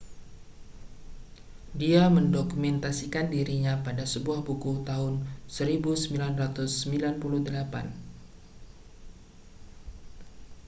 dia mendokumentasikan dirinya pada sebuah buku tahun 1998